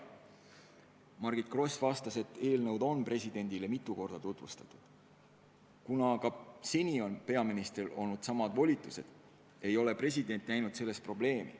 Margit Gross vastas, et eelnõu on presidendile mitu korda tutvustatud ja kuna seni on peaministril olnud samad volitused, ei näe president mingit probleemi.